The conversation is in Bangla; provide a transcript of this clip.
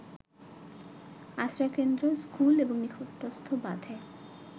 আশ্রয়কেন্দ্র, স্কুল ও নিকটস্থ বাঁধে